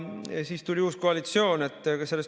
Siis tuli uus koalitsioon.